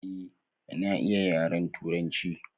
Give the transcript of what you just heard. Eh na iya yaren turanci.